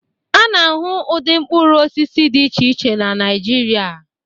A na-ahụ ụdị mkpụrụ osisi dị iche iche na Naịjirịa